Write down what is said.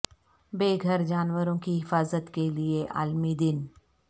بے گھر جانوروں کی حفاظت کے لئے عالمی دن